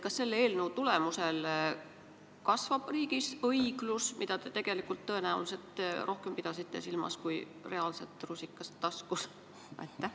Kas selle eelnõu tulemusel kasvab riigis õiglus, mida te tõenäoliselt rohkem silmas pidasite kui reaalset rusikat taskus?